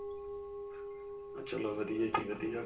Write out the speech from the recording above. ਚਲੋ ਵਧੀਆ ਜੀ ਵਧੀਆ.